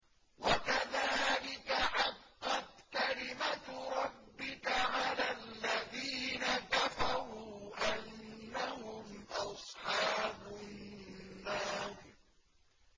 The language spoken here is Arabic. وَكَذَٰلِكَ حَقَّتْ كَلِمَتُ رَبِّكَ عَلَى الَّذِينَ كَفَرُوا أَنَّهُمْ أَصْحَابُ النَّارِ